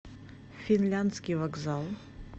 финляндский вокзал